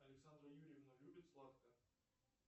александра юрьевна любит сладкое